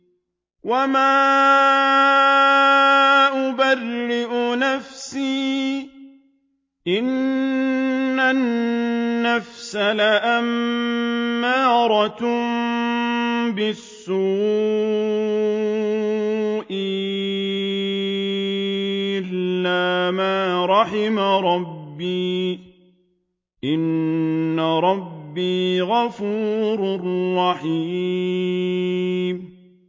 ۞ وَمَا أُبَرِّئُ نَفْسِي ۚ إِنَّ النَّفْسَ لَأَمَّارَةٌ بِالسُّوءِ إِلَّا مَا رَحِمَ رَبِّي ۚ إِنَّ رَبِّي غَفُورٌ رَّحِيمٌ